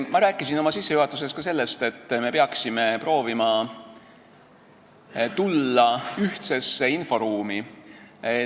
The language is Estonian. Ma rääkisin oma sissejuhatuses ka sellest, et me peaksime proovima tulla ühisesse inforuumi.